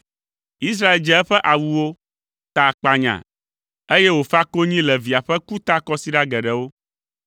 Israel dze eƒe awuwo, ta akpanya, eye wòfa konyi le via ƒe ku ta kɔsiɖa geɖewo.